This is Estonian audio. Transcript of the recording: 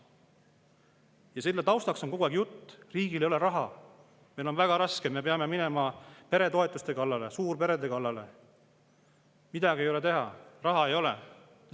Ja selle taustaks on kogu aeg jutt: riigil ei ole raha, meil on väga raske, me peame minema peretoetuste kallale, suurperede kallale, midagi ei ole teha, raha ei ole.